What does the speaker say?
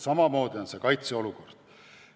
Samamoodi on kaitseolukorraga.